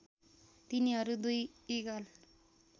तिनीहरू २ इगल